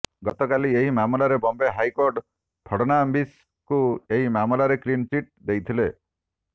ଗତବର୍ଷ ଏହି ମାମଲାର ବମ୍ବେ ହାଇକୋର୍ଟ ଫଡନାଭିସ୍ଙ୍କୁ ଏହି ମାମଲାରେ କ୍ଳିନ୍ ଚିଟ୍ ଦେଇଥିଲେ